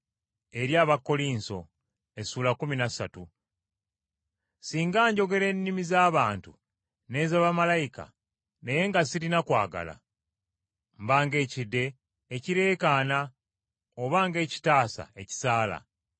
Singa njogera ennimi z’abantu n’eza bamalayika, naye nga sirina kwagala, mba ng’ekidde, ekireekaana oba ng’ekitaasa ekisaala.